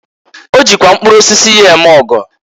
O jikwa mkpụrụ osisi ya eme ọgọ.